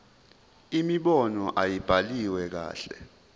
imibono ayibhaliwe kahle